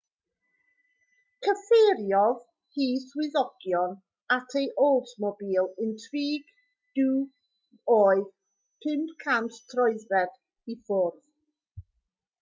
cyfeiriodd hi swyddogion at ei oldsmobile intrigue du oedd 500 troedfedd i ffwrdd